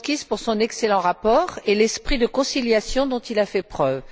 Donskis pour son excellent rapport et l'esprit de conciliation dont il a fait preuve.